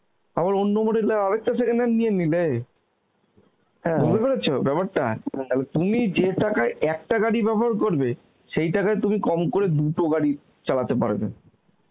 আবার অন্য model এর আর একটা second hand নিয়ে নিলে পেরেছ ব্যাপারটা তাহলে তুমি যে টাকায় একটা গাড়ি ব্যবহার করবে, সেই টাকায় তুমি কম করে দুটো গাড়ি চালাতে পারবে